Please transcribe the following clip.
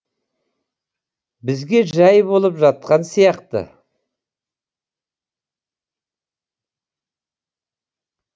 бізге жай болып жатқан сияқты